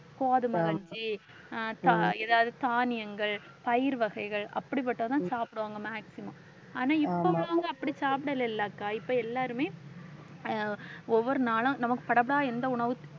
கோதுமை கஞ்சி, தா~ ஏதாவது தானியங்கள், பயறு வகைகள் அப்படிப்பட்டதுதான் சாப்பிடுவாங்க maximum ஆனா இப்ப உள்ளவுங்க அப்படி சாப்பிடலை இல்லக்கா இப்ப எல்லாருமே அஹ் ஒவ்வொரு நாளும் நமக்கு எந்த உணவு